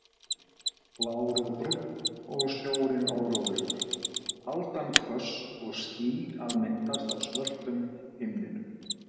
Blár og Brúnn og sjórinn órólegur, aldan hvöss og ský að myndast á svörtum himninum.